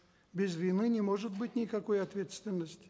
без вины не может быть никакой ответственности